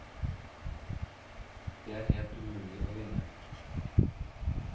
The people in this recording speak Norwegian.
Det er helt umulig å vinne.